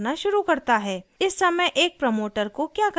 इस समय एक प्रमोटर को क्या करना चाहिए